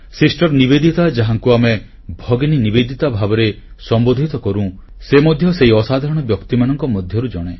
sister Nivedita ଯାହାଙ୍କୁ ଆମେ ଭଗିନୀ ନିବେଦିତା ଭାବରେ ସମ୍ବୋଧିତ କରୁ ସେ ମଧ୍ୟ ସେହି ଅସାଧାରଣ ବ୍ୟକ୍ତିମାନଙ୍କ ମଧ୍ୟରୁ ଜଣେ